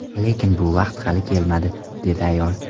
Lekin bu vaqt hali kelmadi”, dedi ayol.